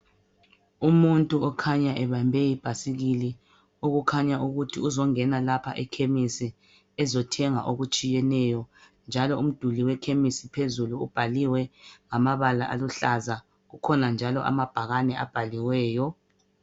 Umuntu okhanya ebambe ibhasikili okukhanya ukuthi uzongena lapha eKhemisi ezothenga okutshiyeneyo, njalo umduli eKhemisi ubhaliwe ngamabala aluhlaza, kukhona njalo amabhakani abhaliweyo.